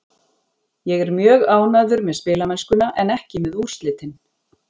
Ég er mjög ánægður með spilamennskuna en ekki með úrslitin.